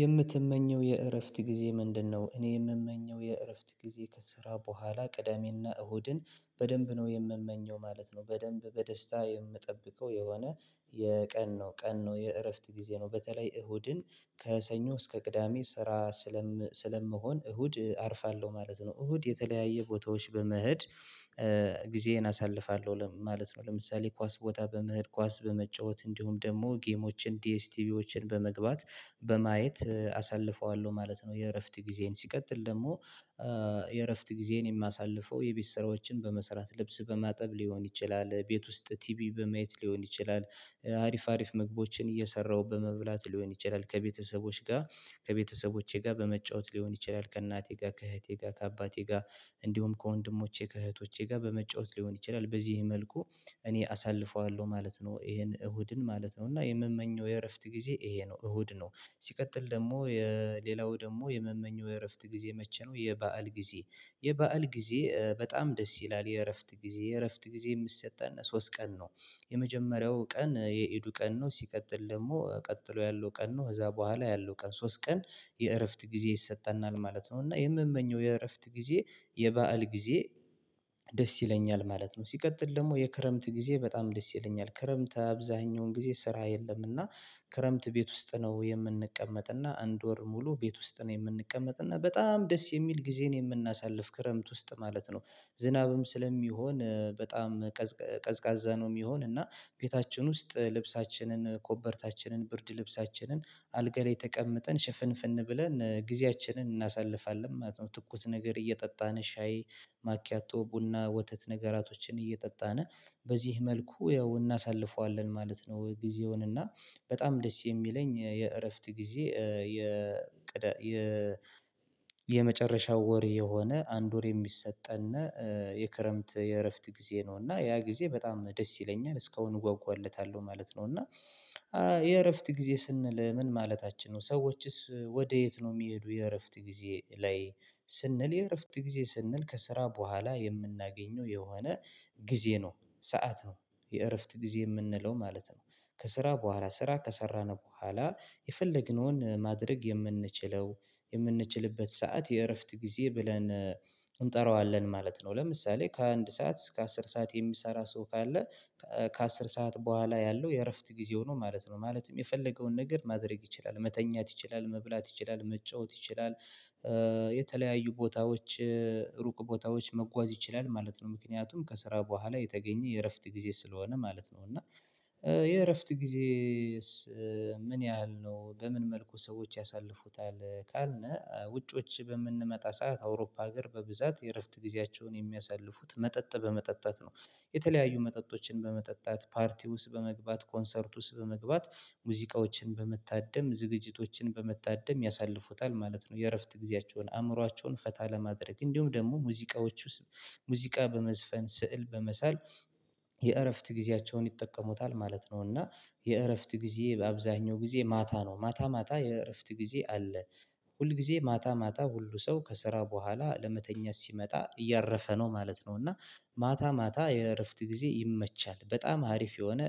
የምትመኘው የእረፍት ጊዜ ምንድነው? እኔ የምመኘው የእረፍት ጊዜ ከስራ በኋላ ቅዳሜና እሁድን በደንብ ነው የምመኘው ማለት ነው። በደንብ በደስታ የምጠብቀው የሆነ የቀን ነው ቀን ነው የእረፍት ጊዜ ነው በተለይ እሁድን ከሰኞ እስከ ቅዳሜ ስራ ስለም ስለምሆን እሁድ አርፋለሁ ማለት ነው እሁድ የተለያየ ቦታዎች በመሄድ ጊዜዬን አሳልፋለሁ ማለት ነው። ለምሳሌ ኳስ ቦታ በመህድ ኳስ በመጫወት እንዲሁም ደግሞ ጌሞችን ዲኤስቲቪዎችን በመግባት በማየት አሳልፈዋለሁ ማለት ነው። የእረፍት ጊዜዬን ሲቀጥል ደግሞ የእረፍት ጊዜዬን የማሳልፈው የቤት ስራዎችን በመስራት ልብስ በማጠብ ሊሆን ይችላል ቤት ውስጥ ቲቪ በመየት ሊሆን ይችላል። አሪፍ አሪፍ ምግቦችን እየሰራሁ በመብላት ሊሆን ይችላል ከቤተሰቦች ጋር ከቤተሰቦቼ ጋር በመጫወት ሊሆን ይችላል። ከእናቴ ጋር ከእህቴ ጋር ከአባቴ ጋር እንዲሁም ከወንድሞቼ ከእህቶቼ ጋር በመጫወት ሊሆን ይችላል። በዚህ መልኩ እኔ አሳልፈዋለሁ ማለት ነው ይሄን እሁድን ማለት ነው እና የምመኘው የእረፍት ጊዜ ይሄ ነው እሁድ ነው። ሲቀጥል ደግሞ የሌላው ደግሞ የመመኘው የእረፍት ጊዜ መቼ ነው? የባዓል ጊዜ የባዓል ጊዜ በጣም ደስ ይላል የእረፍት ጊዜ የእረፍት ጊዜ የምሰጠን ሶስት ቀን ነው። የመጀመሪያው ቀን የኢዱ ቀን ነው ሲቀጥል ደግሞ ቀጥሎ ያለው ቀን ነው ከዛ በኋላ ያለው ቀን ሶስት ቀን የእረፍት ጊዜ ይሰጠናል ማለት ነው። እና የምመኘው የእረፍት ጊዜ የባዓል ጊዜ ደስ ይለኛል ማለት ነው። ሲቀጥል ደግሞ የክረምት ጊዜ በጣም ደስ ይለኛል ክረምት አብዛኛውን ጊዜ ስራ የለም እና ክረምት ቤት ውስጥ ነው የምንቀመጥ እና እንድ ወር ሙሉ ቤት ውስጥ ነው የምንቀመጥ እና በጣም ደስ የሚል ጊዜን የምናሳልፍ ክረምት ውስጥ ማለት ነው። ዝናብም ስለሚሆን በጣም ቀዝቃዛ ነው የሚሆን እና ቤታችን ውስጥ ልብሳችንን ኮበርታችንን ብርድ ልብሳችንን አልጋ ለይ ተቀምጠን ሽፍንፍን ብለን ጊዜያችንን እናሳልፋለን ማለት ነው። ትኩስ ነገር እየጠጣን ሻይ ማኪያቶ ቡና ወተት ነገራቶችን እየጠጣን በዚህ መልኩ ያው እናሳልፈዋለን ማለት ነው። ጊዜውን እና በጣም ደስ የሚለኝ የእረፍት ጊዜ የ የ የመጨረሻው ወር የሆነ አንድ ወር የሚሰጠን የክረምት የእረፍት ጊዜ ነው እና ያ ጊዜ በጣም ደስ ይለኛል እስካሁን እጓጓለታለሁ ማለት ነው። እና የእረፍት ጊዜ ስንል ምን ማለታችን ነው ሰዎችስ ወዴት ነው የሚሄዱ የእረፍት ጊዜ ላይ? ስንል የእረፍት ጊዜ ስንል ከስራ በኋላ የምናገኘው የሆነ ጊዜ ነው ሰዓት ነው የእረፍት ጊዜ የምንለው ማለት ነው። ከስራ በኋላ ስራ ከሰራነው በኋላ የፈለግነውን ማድረግ የምንችለው የምንችልበት ሰዓት የእረፍት ጊዜ ብለን እንጠራዋለን ማለት ነው ለምሳሌ ከአንድ ሰዓት እስከ አስር ሰዓት የሚሰራ ሰው ካለ ከአስር ሰዓት በኋላ ያለው የእረፍት ጊዜው ነው ማለት ነው ማለትም የፈለገውን ነገር ማድረግ ይችላል መተኛት ይችላል መብላት ይችላል መጫወት ይችላል። የተለያዩ ቦታዎች ሩቅ ቦታዎች መጓዝ ይችላል ማለት ነው ምክንያቱም ከስራ በኋላ የተገኘ የእረፍት ጊዜ ስለሆነ ማለት ነው። እና የእረፍት ጊዜዬስ ምን ያህል ነው በምን መልኩ ሰዎች ያሳልፉታል? ካልነ ውጭዎች በምንመጣ ሰዓት አውሮፓ ሀገር በብዛት የእረፍት ጊዜያቸውን የሚያሳልፉት መጠጥ በመጠጣት ነው የተለያዩ መጠጦችን በመጠጣት ፓርቲ ውስጥ በመግባት ኮንሰርት ውስጥ በመግባት ሙዚቃዎችን በመታደም ዝግጅቶችን በመታደም ያሳልፉታል ማለት ነው። የእረፍት ጊዜያቸውን አእምሮአቸውን ፈታ ለማድረግ እንዲሁም ደግሞ ሙዚቃዎቹ ሙዚቃ በመዝፈን ስዕል በመሳል የእረፍት ጊዜያቸውን ይጠቀሙታል ማለት ነው። እና የእረፍት ጊዜ በአብዛኛው ጊዜ ማታ ነው ማታ ማታ የእረፍት ጊዜ አለ ሁል ጊዜ ማታ ማታ ሁሉ ሰው ከስራ በኋላ ለመተኛት ሲመጣ እያረፈ ነው ማለት ነው። እና ማታ ማታ የእረፍት ጊዜ ይመቻል በጣም አሪፍ የሆነ